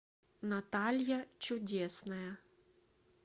наталья чудесная